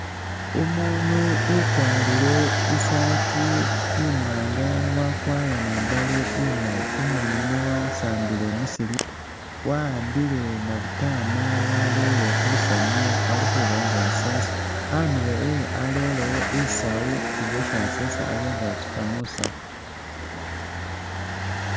Umuunu ukwalire i'saati imwaanga wakwara ni imbaale imaali. Umuundu yuno wasambile mu slipper wa'ambile nabutaama walere khulusaniya ali khuba nga asesa. Andulo ewe arelewo i'sawu nga esi asesa abe nga atsukha mu saawu.